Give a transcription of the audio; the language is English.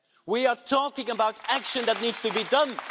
We are talking about action that needs to be done.